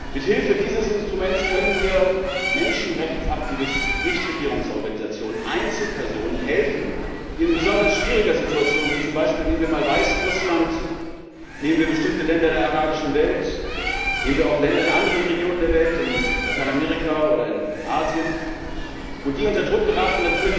Mithilfe dieses Instruments können wir Menschenrechtsaktivisten, Nichtregierungsorganisationen, Einzelpersonen helfen, die in besonders schwieriger Situation nehmen wir zum Beispiel mal Weißrussland, nehmen wir bestimmte Länder der arabischen Welt, nehmen wir auch Länder in anderen Regionen der Welt, in Lateinamerika oder in Asien unter Druck geraten.